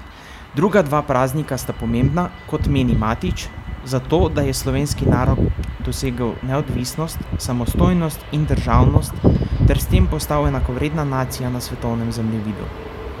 Druga dva praznika sta pomembna, kot meni Matić, zato, da je slovenski narod dosegel neodvisnost, samostojnost in državnost ter s tem postal enakovredna nacija na svetovnem zemljevidu.